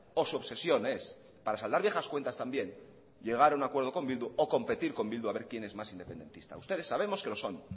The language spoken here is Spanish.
o su obsesión es para saldar viejas cuentas también llegar a un acuerdo con bildu o competir con bildu a ver quién es más independentista ustedes sabemos que lo son